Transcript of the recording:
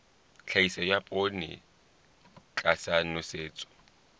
tlhahiso ya poone tlasa nosetso